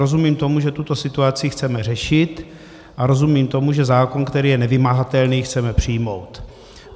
Rozumím tomu, že tuto situaci chceme řešit, a rozumím tomu, že zákon, který je nevymahatelný, chceme přijmout.